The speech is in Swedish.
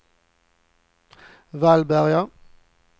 Vallberga